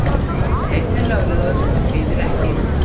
Einn er löglegur, hinir ekki.